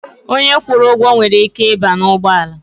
Onye kwụrụ ụgwọ nwere ike ịba n'ugbọala.